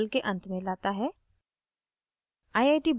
यह हमें इस tutorial के अंत में लाता है